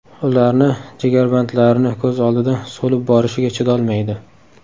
Ularni jigarbandlarini ko‘z oldida so‘lib borishiga chidolmaydi.